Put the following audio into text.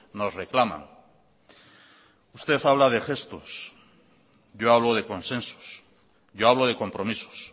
nos reclaman usted habla de gestos yo hablo de consensos yo hablo de compromisos